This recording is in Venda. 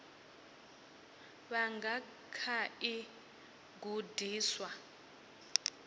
vha nga kha ḓi gudiswa